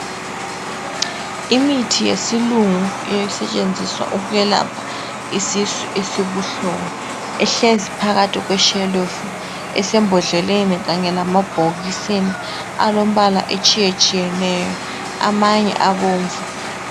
Imithi yesilunggu esetshenziswa ukwelapha isisu esibuhlungu ihlezi phakathi kweshelufu esembodleleni kanye lamabhokisini alombala otshiyeneyo amanye abomvu.